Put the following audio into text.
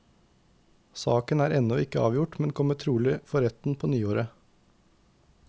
Saken er ennå ikke avgjort, men kommer trolig for retten på nyåret.